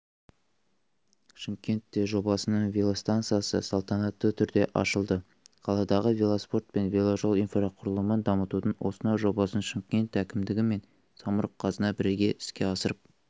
шымкентте жобасының велостанциясы салтанатты түрде ашылды қаладағы велоспорт пен веложол инфрақұрылымын дамытудың осынау жобасын шымкент әкімдігі мен самұрық-қазына бірге іске асырып